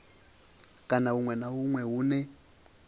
kana huṅwe na huṅwe hune